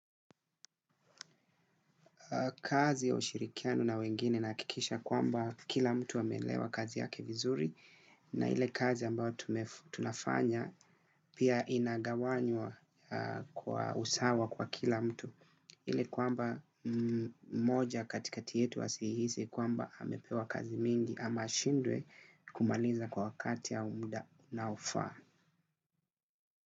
Kazi ya ushirikiano na wengine nahakikisha kwamba kila mtu ameelewa kazi yake vizuri na ile kazi ambayo tunafanya pia inagawanywa kwa usawa kwa kila mtu. Ile kwamba, mmoja katikati yetu asihisi kwamba amepewa kazi mingi ama ashindwe kumaliza kwa wakati ya mda unaofaa.